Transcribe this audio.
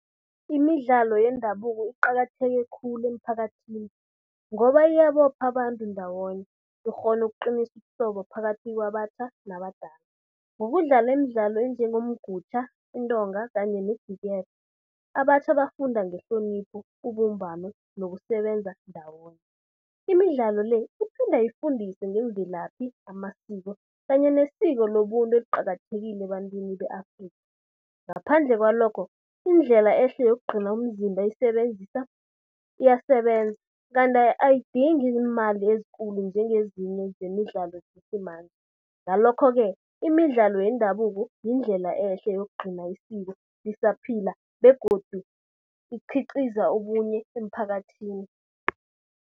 Imidlalo yendabuko iqakatheke khulu emphakathini ngoba iyabopha abantu ndawonye. Ikghona ukuqinisa ubuhlobo phakathi kwabatjha nabadala. Ngokudlala imidlalo enjengomgutjha, intonga kanye abatjha bafunda ngehlonipho ubumbano nokusebenza ndawonye. Imidlalo le iphinda ifundise ngemvelaphi, amasiko kanye nesiko lobuntu eliqakathekile ebantwini be-Afrikha. Ngaphandle kwalokho indlela ehle yokugcina umzimba isebenzisa iyasebenza. Kanti ayidingi iimali ezikulu njengezinye zemidlalo zesimanje. Ngalokho-ke imidlalo yendabuko yindlela ehle yokugcina isiko lisaphila begodu ikhiqiza ubunye emphakathini.